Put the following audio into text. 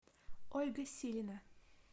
ольга силина